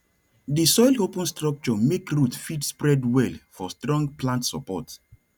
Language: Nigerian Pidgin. di soil open structure make root fit spread well for strong plant support